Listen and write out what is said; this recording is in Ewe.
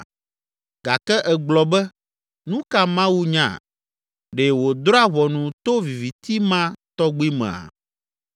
Gake ègblɔ be, ‘Nu ka Mawu nya? Ɖe wòdrɔ̃a ʋɔnu to viviti ma tɔgbi mea?